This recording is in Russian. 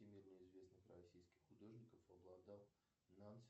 всемирно известных российских художников обладал